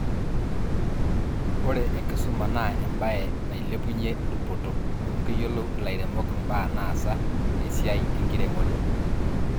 ore enkisuma naa ebaye nailepunye dupoto ,amu keyiolou ilairemok ibaa naasa te siai enkiremore